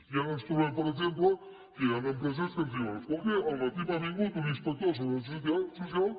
i ara ens trobem per exemple que hi ha una empresa que ens diuen escolti al matí m’ha vingut un inspector de la seguretat social